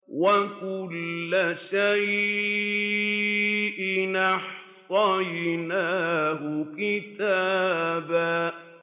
وَكُلَّ شَيْءٍ أَحْصَيْنَاهُ كِتَابًا